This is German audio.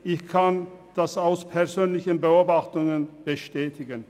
Ich kann dies durch persönliche Beobachtungen bestätigen.